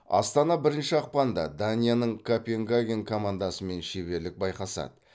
астана бірінші ақпанда данияның копенгаген командасымен шеберлік байқасады